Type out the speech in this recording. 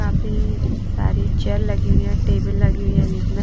काफी सारी चेयर लगी हुई है टेबल लगी हुई है बीच में--